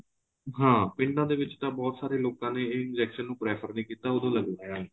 ਹਾਂ ਪਿੰਡਾਂ ਦੇ ਵਿੱਚ ਬਹੁਤ ਸਾਰੇ ਲੋਕਾਂ ਨੇ ਏ injection ਨੂੰ prefer ਨਹੀਂ ਕੀਤਾ ਉਦੋਂ ਲਗਵਾਇਆ ਨਹੀਂ